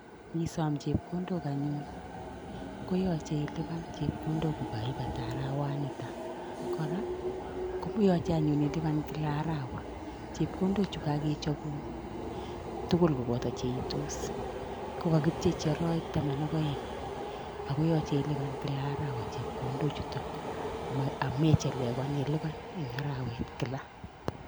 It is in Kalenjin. Ngiisom chepkondok anyun koyache ilipan chepkondok arawatniitok kora koyache anyun ilipan kila arawa. chepkondok chu kakechobun tugul koboto cheiitos kokakipchechi arawek taman ak aeng' akoyache ilipan kila arawa chepkondok chutok amechelewan ilipan ing' arawet kila